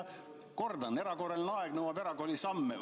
Kordan: erakorraline aeg nõuab erakorralisi samme.